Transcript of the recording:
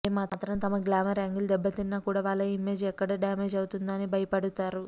ఏ మాత్రం తమ glamour angle దెబ్బతిన్నా కూడా వాళ్ళ ఇమేజ్ ఎక్కడ డ్యామేజ్ అవుతుందో అని భయపడుతారు